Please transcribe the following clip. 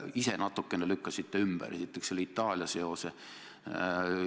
Te ka ise natukene lükkasite ümber selle Itaalia seose.